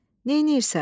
Neyləyirsən?